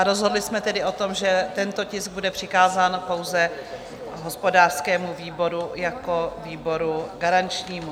A rozhodli jsme tedy o tom, že tento tisk bude přikázán pouze hospodářskému výboru jako výboru garančnímu.